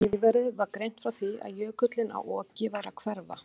Í fréttum nýverið var greint frá því að jökullinn á Oki væri að hverfa.